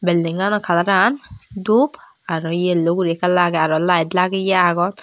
buildingano kalaran dup aro yellow guri ekka lagey aro layet lageye agon.